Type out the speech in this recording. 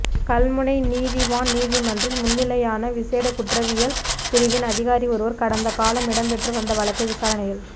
கல்முனை நீதிவான் நீதிமன்றில் முன்னிலையான விசேட குற்றவியல் பிரிவின் அதிகாரி ஒருவர் கடந்த காலம் இடம்பெற்று வந்த வழக்கு விசாரணையில்